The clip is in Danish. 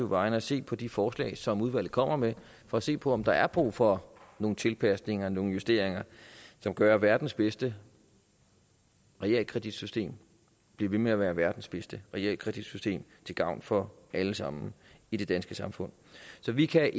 vegne at se på de forslag som udvalget kommer med og se på om der er brug for nogle tilpasninger nogle justeringer som gør at verdens bedste realkreditsystem bliver ved med at være verdens bedste realkreditsystem til gavn for alle sammen i det danske samfund så vi kan